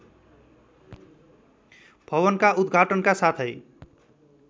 भवनका उदघाटनका साथै